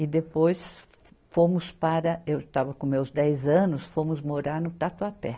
E depois fomos para, eu estava com meus dez anos, fomos morar no Tatuapé.